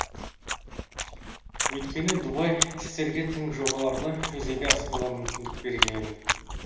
өйткені дубай іскерлерге тың жобаларды жүзеге асыруға мүмкіндік берген